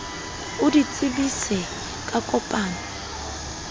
o di tsebise ka kopano